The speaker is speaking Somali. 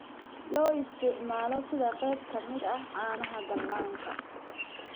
Loo isticmaalo sida qayb ka mid ah caanaha dhallaanka.